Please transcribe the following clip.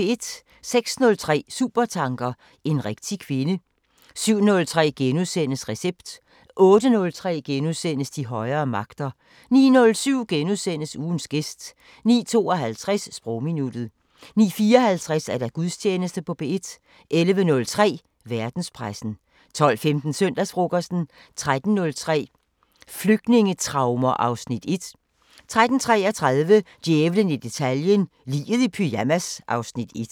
06:03: Supertanker: En rigtig kvinde 07:03: Recept * 08:03: De højere magter * 09:07: Ugens gæst * 09:52: Sprogminuttet 09:54: Gudstjeneste på P1 11:03: Verdenspressen 12:15: Søndagsfrokosten 13:03: Flygtningetraumer (Afs. 1) 13:33: Djævlen i detaljen – Liget i pyjamas (Afs. 1)